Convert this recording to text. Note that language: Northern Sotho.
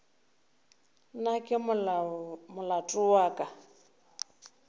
na ke molato wa ka